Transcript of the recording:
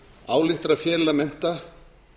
ályktar að fela mennta